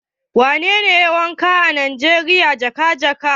Wanene yayi wakan nijeriya jaga-jaga?